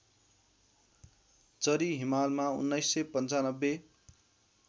चरी हिमालमा १९९५